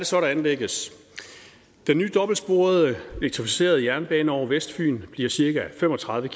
så der anlægges den nye dobbeltsporede elektrificerede jernbane over vestfyn bliver cirka fem og tredive